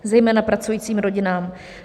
... zejména pracujícím rodinám.